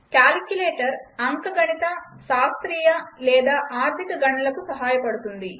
calculator అంకగణిత శాస్త్రీయ లేదా ఆర్ధిక గణనలకు సహాయపడుతుంది